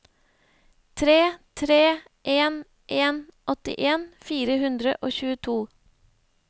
tre tre en en åttien fire hundre og tjueto